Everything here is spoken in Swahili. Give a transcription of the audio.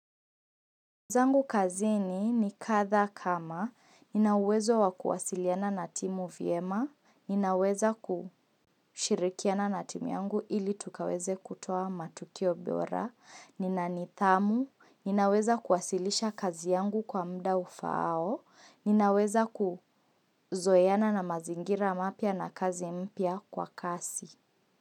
Jambo kazini ni kadhaa kama, ninawezo wakuwasiliana na timu vyema, ninaweza kushirikiana na timu yangu ili tukaweze kutoa matukio bora, nina nithamu, ninaweza kuwasilisha kazi yangu kwa mda ufaao, ninaweza kuzoeana na mazingira mapya na kazi mpya kwa kasi.